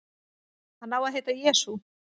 Hann á að heita Jesú.